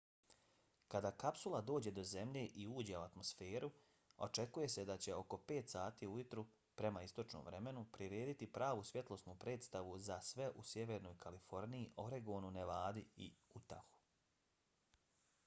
kada kapsula dođe do zemlje i uđe u atmosferu očekuje se da će oko 5 sati ujutro prema istočnom vremenu prirediti pravu svjetlosnu predstavu za sve u sjevernoj kaliforniji oregonu nevadi i utahu